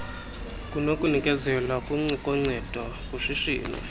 nokunikezelwa koncedo kushishino